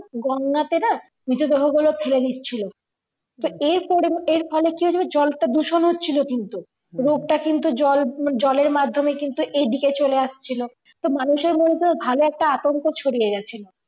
গঙ্গা তে না মৃত দেহ গুলো ফেলে নিচ্ছিলো যে এরপরে এরফলে কি হচ্ছে বলতো জলটা দূষণ হচ্ছিলো কিন্তু রোগটা কিন্তু জল জলের মাদ্ধমে কিন্তু এইদিকে চলে আসছিলো তো মানুষের মনে ভালো একটা আতঙ্ক ছড়িয়ে গেছিলো